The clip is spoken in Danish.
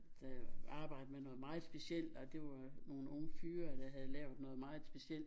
Der arbejde med noget meget specielt og det var nogle unge fyre der havde lavet noget meget specielt